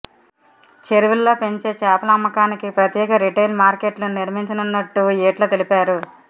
చెరువుల్లో పెంచే చేపల అమ్మకానికి ప్రత్యేక రిటైల్ మార్కెట్లను నిర్మించనున్నట్టు ఈటల తెలిపారు